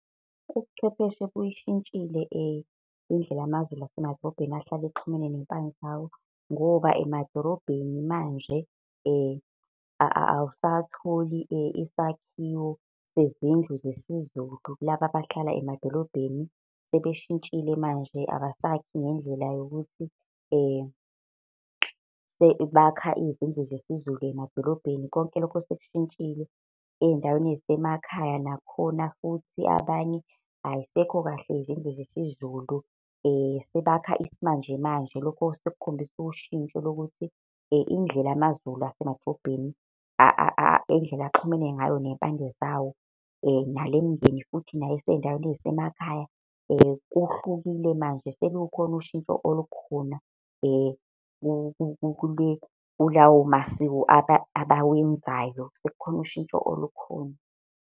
Ubuchwepheshe buyishintshile indlela amaZulu asemadolobheni ahlale exhumene ney'mpande zawo, ngoba emadorobheni manje awusatholi isakhiwo sezindlu zesiZulu. Laba abahlala emadolobheni sebeshintshile manje abasakhi ngendlela yokuthi sebakha izindlu zesiZulu emadolobheni. Konke lokho sekushintshile ey'ndaweni ey'semakhaya nakhona futhi abanye ayisekho kahle izindlu zesizulu sebakha isimanje manje. Lokhu-ke sekukhombisa ushintsho lokuthi indlela amaZulu asemadrobheni indlela axhumene ngayo ney'mpande zawo, nalemindeni futhi esey'ndaweni zasemakhaya, kuhlukile manje selukhona ushintsho olukhona kulawo masiko abawenzayo, sekukhona ushintsho olukhona.